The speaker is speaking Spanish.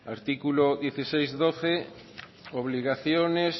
artículo dieciséis punto doce obligaciones